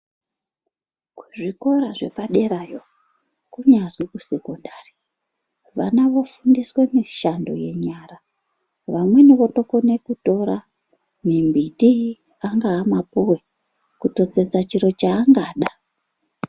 Kizvikora zvekuderayo kunyazwi kusekondari vana vofundiswe mishando yenyara. Vamweni votokona kutora mimbiti anga mapuwe kutotsetsa chiro chaangada.